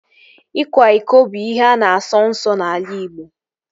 Ịkwa iko bụ ihe a na-asọ nsọ n'ala Igbo